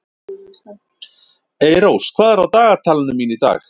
Eyrós, hvað er á dagatalinu mínu í dag?